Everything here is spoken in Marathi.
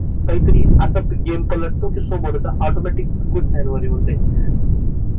काहीतरी असा गेम पलट तो की समोरचा ऑटोमॅटिक गुडघ्यांवर येऊन जाईल